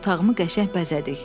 Otağımı qəşəng bəzədik.